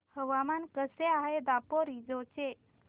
हवामान कसे आहे दापोरिजो चे